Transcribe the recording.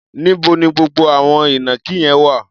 Níbo ni gbogbo àwọn ìnàkí yẹn wà?